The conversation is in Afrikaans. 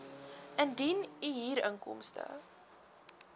indien u huurinkomste